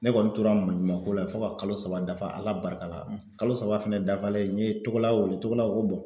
Ne kɔni tora maɲumako la fo ka kalo saba dafa ala barika la kalo saba fɛnɛ dafalen n ye togola wele togola ko bɔn